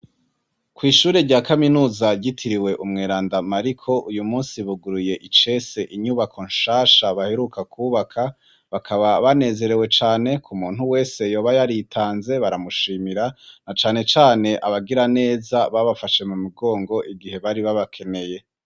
Kw'ishuri rya kaminuza ryitiriwe umweranda Mariko, uyu munsi buguruye icese inyubako nshasha baheruka kubaka ,bakaba banezerewe cane ku muntu wese yoba yaritanze baramushimira, na cane cane abagira neza babafashe mu migongo igihe bari babakeneye.